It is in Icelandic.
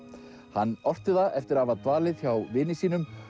hann orti það eftir að hafa dvalið hjá vini sínum